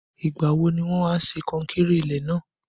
Ìgbà wo ni wọn a ṣe kankéré ilé náà?